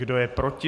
Kdo je proti?